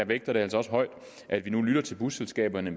vægter det altså højt at vi nu lytter til busselskaberne